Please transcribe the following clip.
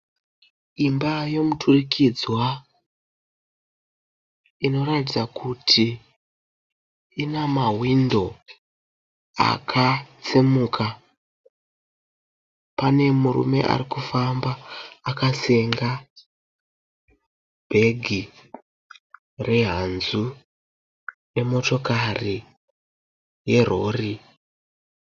Imba yemuturikidzwa inoratidza kuti ina mahwindo akatsemuka. Pane murume ari kufamba akasenga bhegi rehanzu nemotokari yerori.